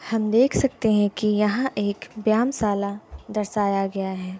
हम देख सकते हैं की यहाँ एक व्यामशाला दर्शाया गया है।